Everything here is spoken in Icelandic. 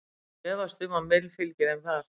Ég efast um að Mill fylgi þeim þar.